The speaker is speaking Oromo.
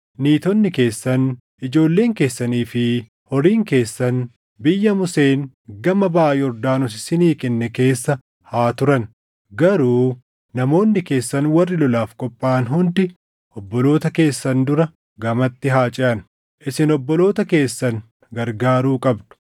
Niitonni keessan, ijoolleen keessanii fi horiin keessan biyya Museen gama baʼa Yordaanos isinii kenne keessa haa turan; garuu namoonni keessan warri lolaaf qophaaʼan hundi obboloota keessan dura gamatti haa ceʼan. Isin obboloota keessan gargaaruu qabdu;